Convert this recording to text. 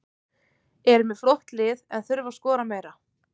Eru með flott lið en þurfa að skora meira.